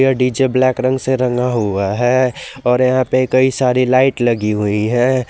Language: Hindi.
डी_जे ब्लैक रंग से रंगा हुआ है और यहां पर कई सारी लाइट लगी हुई है।